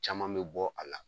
Caman bɛ bɔ a la.